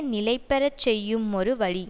நிலைபெற செய்யுமொரு வழி